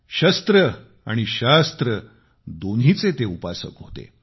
शस्त्र आणि शास्त्र दोन्हीचे ते उपासक होते